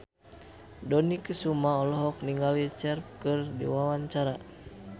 Dony Kesuma olohok ningali Cher keur diwawancara